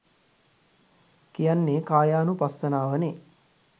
කියන්නෙ කායානුපස්සනාව නෙ